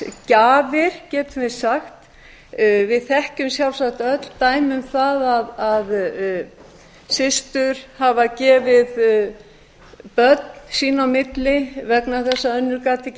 barnsgjafir getum við sagt við þekkjum sjálfsagt öll dæmi um það að systur hafa gefið börn sín á milli vegna þess að önnur gat ekki